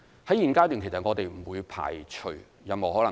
目前階段，我們不會排除任何可能性。